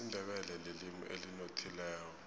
isindebele lilimi elinothileko